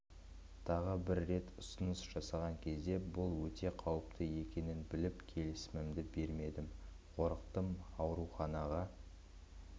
тағы бір рет ұсыныс жасаған кезде бұл өте қауіпті екенін біліп келісімімді бермедім қорықтым ауруханаға